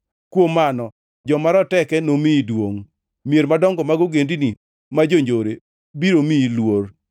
Kuom mano joma roteke nomiyi duongʼ; mier madongo mag ogendini ma jonjore biro miyi luor.